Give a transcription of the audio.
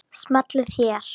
Smellið hér.